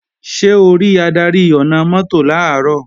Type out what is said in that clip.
Ṣé o rí adarí ọ̀nà-mọ́tò làárọ̀?